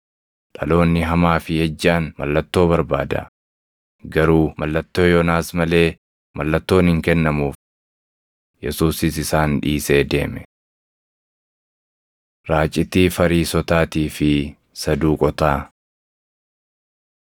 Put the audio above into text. Dhaloonni hamaa fi ejjaan mallattoo barbaada; garuu mallattoo Yoonaas malee mallattoon hin kennamuuf.” Yesuusis isaan dhiisee deeme. Raacitii Fariisotaatii fi Saduuqotaa